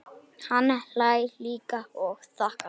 Hann hlær líka og þakkar.